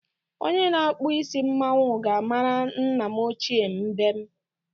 Onye na-akpụ isi mmanwu ga-mara nna m ochie mbem.